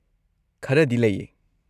ꯈꯔꯗꯤ ꯂꯩꯌꯦ꯫